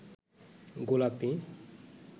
গোলাপী